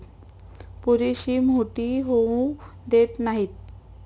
पुरेशी मोठी होऊ देत नाहीत.